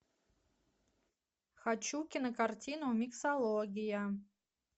хочу кинокартину миксология